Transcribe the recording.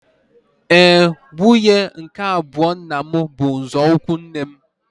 Éè, nwunye nke abụọ nna m bụ nzọụkwụ nne m